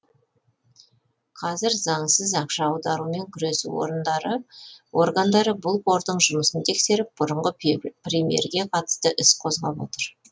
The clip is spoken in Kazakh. қазір заңсыз ақша аударумен күресу органдары бұл қордың жұмысын тексеріп бұрынғы премьерге қатысты іс қозғап отыр